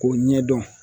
K'o ɲɛdɔn